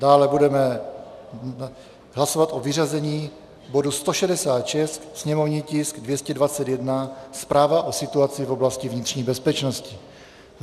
Dále budeme hlasovat o vyřazení bodu 166, sněmovní tisk 221, zpráva o situaci v oblasti vnitřní bezpečnosti.